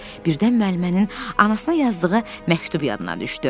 Birdən müəllimənin anasına yazdığı məktub yadına düşdü.